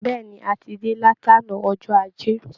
Bẹ́ẹ̀ ni, a ti dé láti àná ọjọ́ Ajé